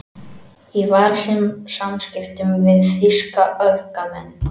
Var í samskiptum við þýska öfgamenn